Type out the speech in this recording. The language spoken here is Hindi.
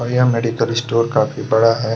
और यह मेडिकल स्टोर काफी बड़ा है।